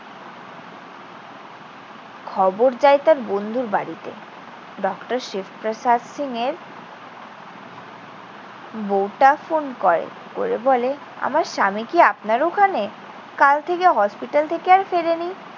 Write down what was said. খবর যায় তার বন্ধুর বাড়িতে। ডক্টর শিব প্রসাদ সিং এর বউটা ফোন করে। করে বলে, আমার স্বামী কি আপনার ওখানে? কাল থেকে হসপিটাল থেকে আর ফেরেনি।